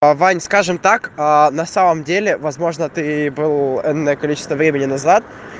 ваня скажем так на самом деле возможно ты был энное количество времени назад